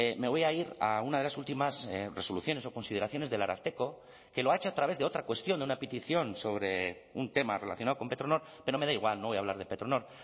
me voy a ir a una de las últimas resoluciones o consideraciones del ararteko que lo ha hecho a través de otra cuestión de una petición sobre un tema relacionado con petronor pero me da igual no voy a hablar de petronor